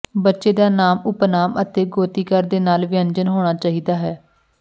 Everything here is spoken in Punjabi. ਬੱਚੇ ਦਾ ਨਾਮ ਉਪਨਾਮ ਅਤੇ ਗੋਤੀਕਾਰ ਦੇ ਨਾਲ ਵਿਅੰਜਨ ਹੋਣਾ ਚਾਹੀਦਾ ਹੈ